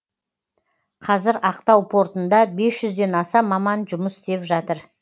қазір ақтау портында бес жүзден аса маман жұмыс істеп жатыр